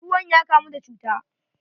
Ruwan ya kamu da cuta.